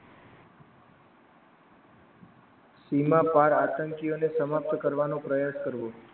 સીમા પાર આતંકીઓને સમાપ્ત કરવાનો પ્રયત્ન કરવો.